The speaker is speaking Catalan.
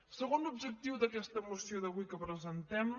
segon objectiu d’aquesta moció d’avui que presentem